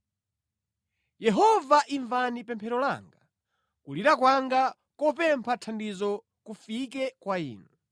Yehova imvani pemphero langa; kulira kwanga kopempha thandizo kufike kwa Inu.